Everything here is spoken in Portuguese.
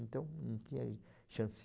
Então, não tinha chance.